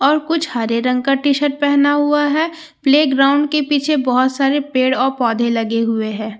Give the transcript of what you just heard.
और कुछ हरे रंग का टीशर्ट पहना हुआ है प्लेग्राउंड के पीछे बहुत सारे पेड़ और पौधे लगे हुए है।